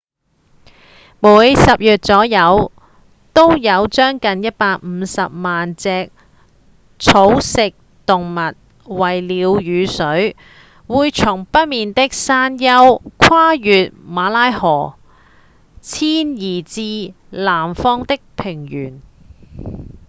每年十月左右都有將近150萬隻草食動物為了雨水會從北邊的山丘跨越馬拉河遷移至南方的平原